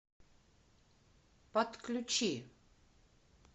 подключи